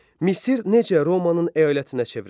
Misir necə Romanın əyalətinə çevrildi?